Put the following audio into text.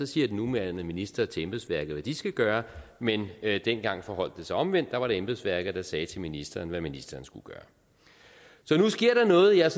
siger den nuværende minister til embedsværket hvad de skal gøre mens det dengang forholdt sig omvendt for der var det embedsværket der sagde til ministeren hvad ministeren skulle gøre så nu sker der noget jeg